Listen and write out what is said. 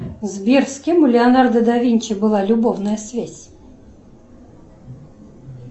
сбер с кем у леонардо да винчи была любовная связь